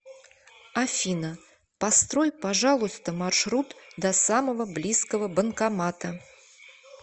афина построй пожалуйста маршрут до самого близкого банкомата